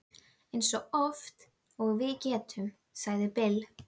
Eins oft og við getum, sagði Bill.